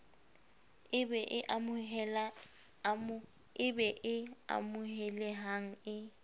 e be e amohelehang e